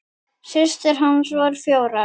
Systur hans voru fjórar.